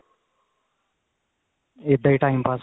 ਇੱਦਾਂ ਹੀ time ਪਾਸ